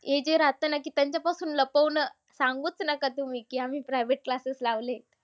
हे जे राहतं ना की त्यांच्यापासून लपवणं. सांगूच नका तुम्ही की आम्ही private classes लावलेत.